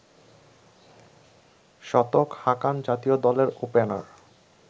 শতক হাঁকান জাতীয় দলের ওপেনার